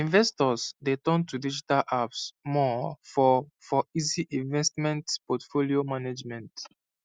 investors dey turn to digital apps more for for easy investment portfolio management